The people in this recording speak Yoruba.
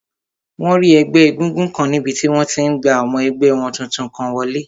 Wọ́n rí ẹgbẹ́ égúngún kan níbi tí wọ́n ti n gba ọmọ ẹgbẹ́ wọn tuntun kan wọlé